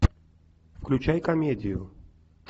включай комедию